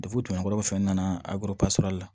kɔrɔ fɛnɛ nana la